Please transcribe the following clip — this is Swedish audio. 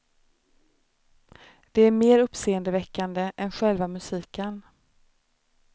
Det är mer uppseendeväckande än själva musiken.